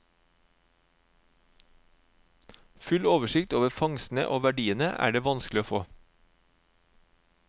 Full oversikt over fangstene og verdiene er det vanskelig å få.